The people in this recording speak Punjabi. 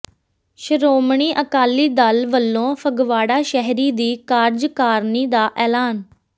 ਸ਼ੋ੍ਰਮਣੀ ਅਕਾਲੀ ਦਲ ਵਲੋਂ ਫਗਵਾੜਾ ਸ਼ਹਿਰੀ ਦੀ ਕਾਰਜਕਾਰਨੀ ਦਾ ਐਲਾਨ